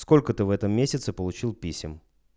сколько ты в этом месяце получил писем